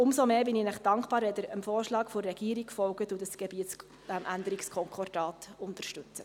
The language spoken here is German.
Umso dankbarer bin ich Ihnen, wenn Sie dem Vorschlag der Regierung folgen und dieses Änderungskonkordat unterstützen.